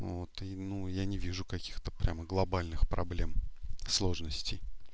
ну вот ну я не вижу каких-то прямо глобальных проблем сложностей